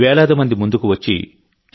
వేలాది మంది ముందుకు వచ్చి టి